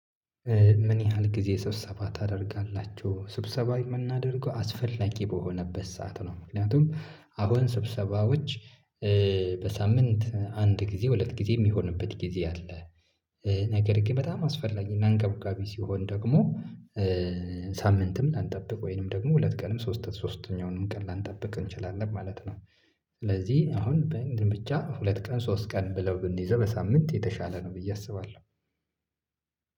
ምን ያህል ጊዜ ስብሰባ ታደርጋላችሁ ስብሰባ የምናደርገው አስፈላጊ በሆነበት ሰዓት ነው? ምክንያቱም አሁን ስብሰባዎች በሳምንት አንድ ጊዜ ሁለት ጊዜ የሚሆንበት ጊዜ አለ። ነገር ግን በጣም አስፈላጊና አንገብጋቢ ሲሆን ደግሞ ሳምንትም ላንጠብቅ ወይንም ደግሞ ሁለት ቀንም ሶስት ሶስተኛውንም ቀን ላንጠብቅ እንችላለን ማለት ነው። ስለዚህ አሁን በእንድን ብቻ ሁለት ቀን ሶስት ቀን ብለው ብንይዘው በሳምንት የተሻለ ነው ብዬ አስባለሁ።